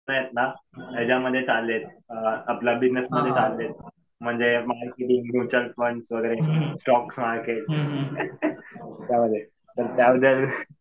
आहेत ना याच्यामध्ये चाललेत. आपलं बिजनेसमध्ये चाललेत. म्हणजे मार्केटिंग, म्युच्युअल फ़ंड वगैरे स्टोक मार्केट यामध्ये. तर त्या बद्दल